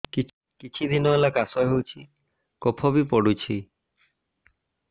କିଛି ଦିନହେଲା କାଶ ହେଉଛି କଫ ବି ପଡୁଛି